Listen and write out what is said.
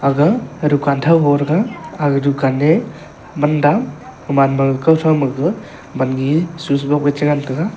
aga dukan tho ho thega ag dukan ne man dam gaman ma kau tho ma gaga man ne swish box ke che ngan tega.